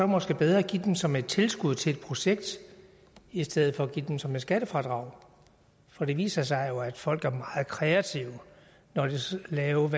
måske bedre at give dem som et tilskud til et projekt i stedet for at give dem som et skattefradrag for det viser sig jo at folk er meget kreative når de skal have